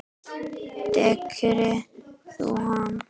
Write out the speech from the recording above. Þekkir þú hann?